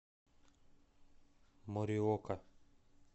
мориока